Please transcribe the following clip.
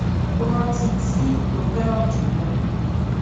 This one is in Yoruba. ó rántí tii tó féràn jù lọ